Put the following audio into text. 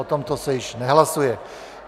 O tomto je již nehlasuje.